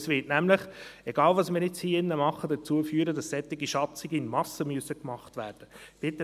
Es wird nämlich dazu führen – unabhängig davon, was wir hier drin machen –, dass solche Schatzungen in Massen gemacht werden müssen.